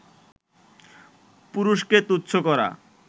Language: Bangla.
পুরুষকে তুচ্ছ করা